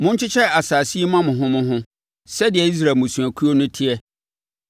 “Monkyekyɛ asase yi mma mo ho mo ho, sɛdeɛ Israel mmusuakuo no teɛ.